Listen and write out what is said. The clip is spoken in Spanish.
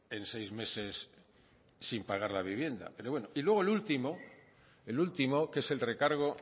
en seis meses sin pagar la vivienda pero bueno y luego el último el último que es el recargo